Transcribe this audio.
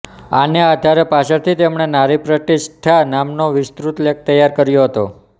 આને આધારે પાછળથી તેમણે નારીપ્રતિષ્ઠા નામનો વિસ્તૃત લેખ તૈયાર કરો હતો